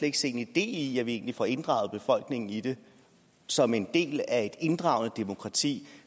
ikke se en idé i at vi egentlig får inddraget befolkningen i det som en del af inddragende demokrati